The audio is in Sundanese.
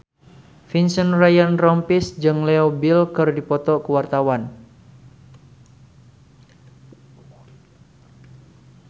Vincent Ryan Rompies jeung Leo Bill keur dipoto ku wartawan